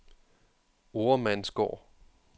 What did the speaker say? Oremandsgård